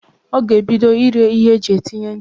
Ọ ga-ebido ire ihe eji etinye ncha.